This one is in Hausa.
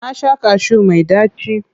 Na sha kashu mai ɗaci.